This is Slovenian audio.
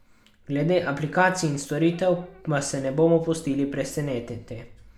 Glede aplikacij in storitev pa se bomo pustili presenetiti.